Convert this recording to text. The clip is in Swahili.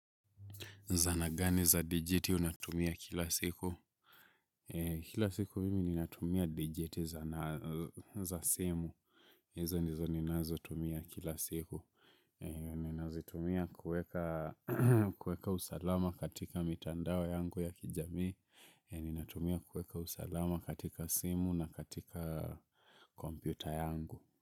Zanagani za digiti unatumia kila siku? Kila siku mimi ninatumia digiti za simu. Hizo ndizo ninazo tumia kila siku. Ninazitumia kueka usalama katika mitandao yangu ya kijamii. Ninatumia kuweka usalama katika simu na katika kompyuta yangu.